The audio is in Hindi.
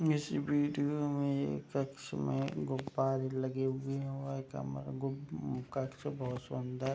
इस वीडियो में एक कक्ष में गुब्बारे लगे हुए हैं और यह कमरा कक्ष बहुत सुन्दर --